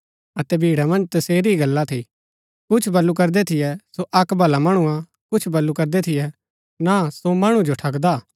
अतै भीड़ा मन्ज तसेरी ही गल्ला थी कुछ बल्लू करदै थियै सो अक्क भला मणु हा कुछ बल्लू करदै थियै ना सो मणु जो ठगदा हा